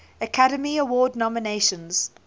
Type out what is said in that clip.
academy award nominations